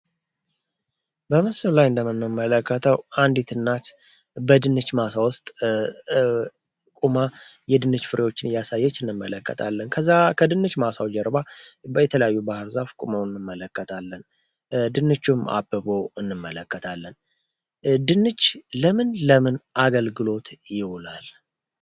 በምስሉ ላይ እንደመንመለከተው አንዲት እናት በድንች ማሳ ውስጥ ቁማ የድንች ፍሬዎችን እያሳየች እንመለከታለን። ከድንች ማሳው ጀርባ በየተለያዩ ባህርዛፍ ቁመው እንመለከታለን። ድንቹም አበቦ እንመለከታለን ድንች ለምን ለምን አገልግሎት ይውላል?